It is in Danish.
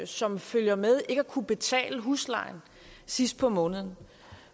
som følger med ikke at kunne betale huslejen sidst på måneden